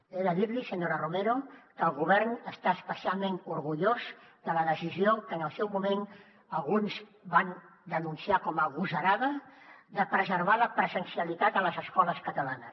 he de dir li senyora romero que el govern està especialment orgullós de la decisió que en el seu moment alguns van denunciar com a agosarada de preservar la presencialitat a les escoles catalanes